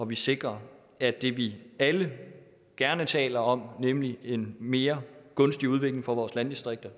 vi sikrer at det vi alle gerne taler om nemlig en mere gunstig udvikling for vores landdistrikter